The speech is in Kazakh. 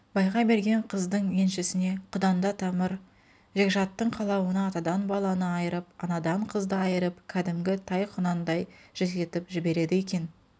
байға берген қыздың еншісіне құданда тамыр-жекжаттың қалауына атадан баланы айырып анадан қызды айырып кәдімгі тай-құнандай жетектетіп жібереді екен